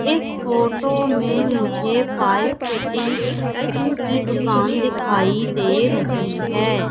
इस फोटो में मुझे पाइप फिटिंग की दुकान दिखाई दे रही है।